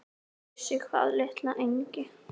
Vissi hvað, litla engi-?